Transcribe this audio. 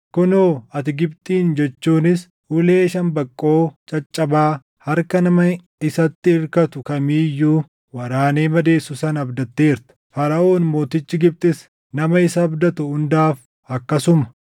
Kunoo ati Gibxin jechuunis ulee shambaqqoo caccabaa harka nama isatti irkatu kamii iyyuu waraanee madeessu sana abdatteerta! Faraʼoon mootichi Gibxis nama isa abdatu hundaaf akkasuma.